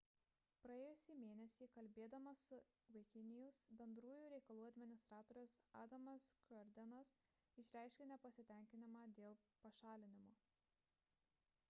praėjusį mėnesį kalbėdamas su wikinews bendrųjų reikalų administratorius adamas cuerdenas išreiškė nepasitenkinimą dėl pašalinimo